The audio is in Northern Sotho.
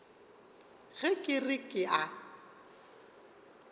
ge ke re ke a